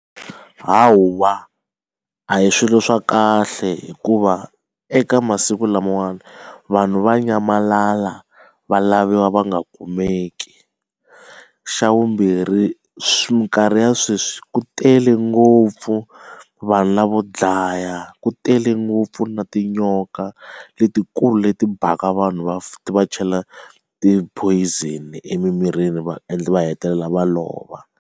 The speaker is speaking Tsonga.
Hawa a hi swilo swa kahle hikuva eka masiku lamawani vanhu va nyamalala va laviwa va nga kumeki xa vumbirhi minkarhi ya sweswi ku tele ngopfu vanhu lavo dlaya ku tele ngopfu na tinyoka letikulu leti bhaka vanhu ti va chela ti poison emimirini va endla va hetelela va lova.